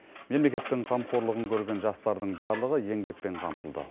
мемлекеттің қамқорлығын көрген жастардың барлығы еңбекпен қамтылды